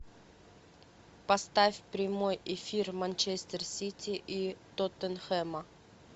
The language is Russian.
поставь прямой эфир манчестер сити и тоттенхэма